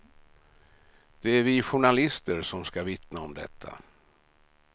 Det är vi journalister som ska vittna om detta.